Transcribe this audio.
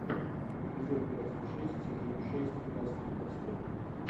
эпизод двадцать шесть сезон шесть красные браслеты